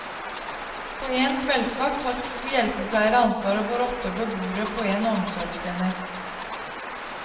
På en kveldsvakt har to hjelpepleiere ansvaret for åtte beboere på en omsorgsenhet.